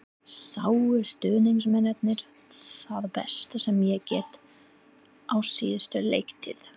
Sáu stuðningsmennirnir það besta sem ég get á síðustu leiktíð?